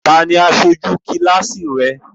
Ta ni aṣojú kíláàsì rẹ?